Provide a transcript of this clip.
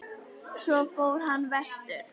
Svo fór hann vestur.